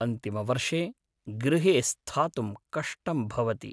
अन्तिमवर्षे गृहे स्थातुं कष्टम् भवति।